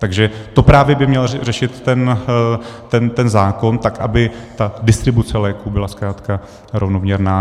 Takže to právě by měl řešit ten zákon, tak aby ta distribuce léků byla zkrátka rovnoměrná.